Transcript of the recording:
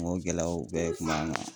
N k'o gɛlɛyaw bɛɛ kun b'an kan